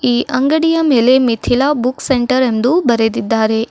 ಈ ಅಂಗಡಿಯ ಮೇಲೆ ಮಿತಿಲ ಬುಕ್ಸ್ ಸೆಂಟರ್ ಎಂದು ಬರೆದಿದ್ದಾರೆ.